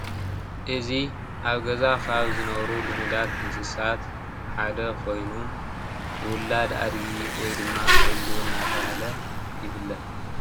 እዚ ኣብ ገዛ ካብ ዝነብሩ ልሙዳት እንስሳት ሓደ ኮይኑ ውላድ ኣድጊ ወይ ድማ ዒሉ እናተብሃለ ይፍለጥ፡፡